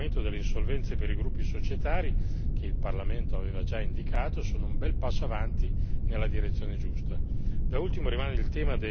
Anche le procedure di coordinamento delle insolvenze per i gruppi societari, che il Parlamento aveva già indicato, sono un bel passo avanti nella direzione giusta.